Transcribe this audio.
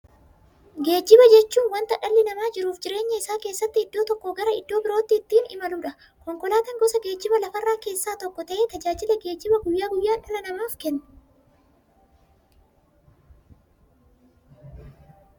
Geejjiba jechuun wanta dhalli namaa jiruuf jireenya isaa keessatti iddoo tokkoo gara iddoo birootti ittiin imaluudha. Konkolaatan gosa geejjibaa lafarraa keessaa tokko ta'ee, tajaajila geejjibaa guyyaa guyyaan dhala namaaf kenna.